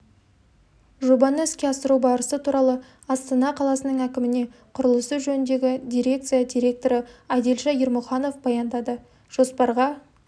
жобаны іске асыру барысы туралы астана қаласының әкіміне құрылысы жөніндегі дирекция директоры адильша ермұханов баяндады жоспарға